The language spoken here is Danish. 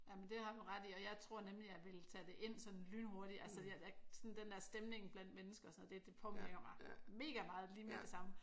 Jamen det har du ret i og jeg tror nemlig jeg ville tage det ind sådan lynhurtigt altså jeg sådan den dér stemning blandt mennesker og sådan noget det påvirker mig mega meget lige med det samme